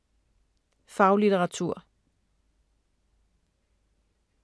Faglitteratur